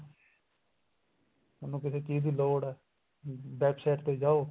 ਥੋਨੂੰ ਕਿਸੇ ਚੀਜ ਦੀ ਲੋੜ ਐ back side ਤੇ ਜਾਓ